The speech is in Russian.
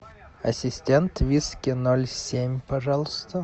ассистент виски ноль семь пожалуйста